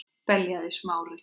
beljaði Smári.